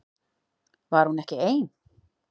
Var hún ekki ein?